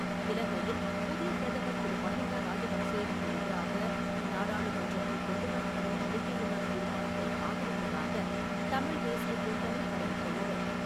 இலங்கையில் புதிய பிரதமர் திரு மஹிந்தா ராஜபக்சேவுக்கு எதிராக நாடாளுமன்றத்தில் கொண்டு வரப்படும் நம்பிக்கையில்லா தீர்மானத்தை ஆதரிப்பதாக தமிழ் தேசிய கூட்டணி அறிவித்துள்ளது.